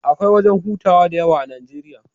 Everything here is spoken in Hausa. Akwai wajan hutawa da yawa a Najeriya